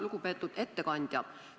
Lugupeetud ettekandja!